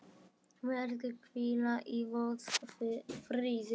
Megirðu hvíla í Guðs friði.